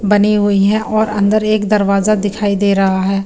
बने हुई है और अन्दर एक दरवाज़ा दिखाई दे रहा है।